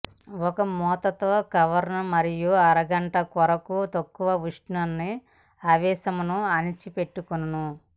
ఒక మూత తో కవర్ మరియు అరగంట కొరకు తక్కువ ఉష్ణ న ఆవేశమును అణిచిపెట్టుకొను